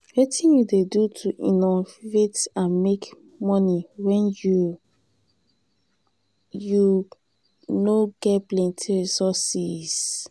wetin you dey do to innovate and make monie when you you no ge plenty resources?